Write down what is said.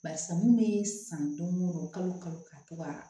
Barisa mun be san don o don kalo o kalo ka to ka